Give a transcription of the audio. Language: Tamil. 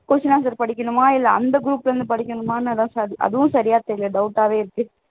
question answer படிக்கணுமா இல்லை அந்த group ல இருந்து படிக்கணுமா அதுவும் சரியா தெரியலை doubt ஆவே இருக்கு